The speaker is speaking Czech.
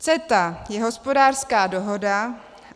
CETA je hospodářská dohoda.